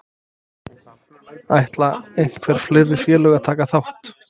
Ætla einhver fleiri félög að taka þátt?